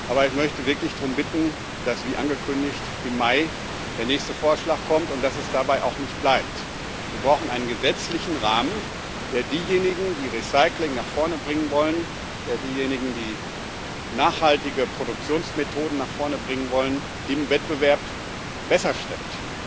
Aber ich möchte wirklich darum bitten, dass, wie angekündigt, im Mai der nächste Vorschlag kommt und dass es dabei auch nicht bleibt. Wir brauchen einen gesetzlichen Rahmen, der diejenigen, die Recycling nach vorne bringen wollen, und diejenigen, die nachhaltige Produktionsmethoden nach vorne bringen wollen, im Wettbewerb besser stellt.